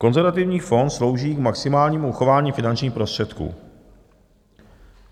Konzervativní fond slouží k maximálnímu uchování finančních prostředků.